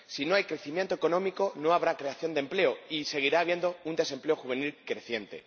Si no hay crecimiento económico, no habrá creación de empleo y seguirá habiendo un desempleo juvenil creciente.